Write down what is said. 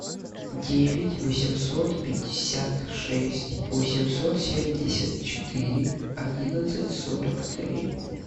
девять восемьсот пятьдесят шесть восемьсот семьдесят четыре одиннадцать сорок три